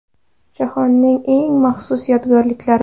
Jahonning eng ma’yus yodgorliklari.